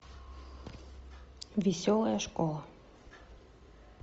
веселая школа